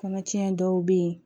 Kɔnɔtiɲɛ dɔw bɛ yen